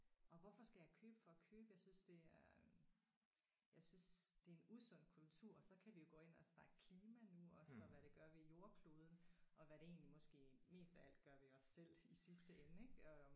Og hvorfor skal jeg købe for at købe jeg synes det er jeg synes det er en usund kultur og så kan vi jo gå ind og snakke klima nu også og hvad det gør ved jordkloden og hvad det egentlig måske mest af alt gør ved os selv i sidste ende ik og